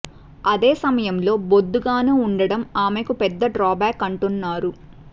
అదే సమయంలో బొద్దుగానూ ఉండటం ఆమెకి పెద్ద డ్రా బ్యాక్ అంటున్నారు